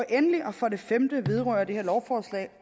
endelig for det femte vedrører det her lovforslag